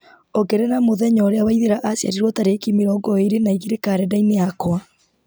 ongerera mũthenya ũrĩa waithĩra aciarirwo tarĩki mĩrongo ĩĩrĩ na igĩrĩ karenda-inĩ yakwa